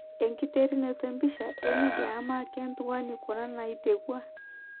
Enkiterunoto empisha ,E media ama kentuain kuna natiu aa?